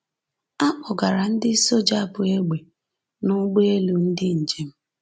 A kpọgara ndị soja bu egbe n’ụgbọelu ndị njem.